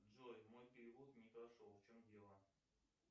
джой мой перевод не прошел в чем дело